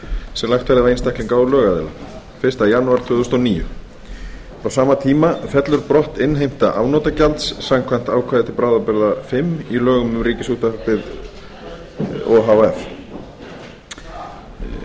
sem lagt verði á einstaklinga og lögaðila fyrsta janúar tvö þúsund og níu frá sama tíma fellur brott innheimta afnotagjalds samkvæmt ákvæði til bráðabirgða fimm í lögum um ríkisútvarpið o h f